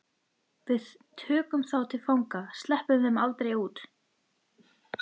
Við tökum þá til fanga. sleppum þeim aldrei út.